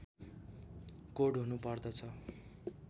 code हुनु पर्दछ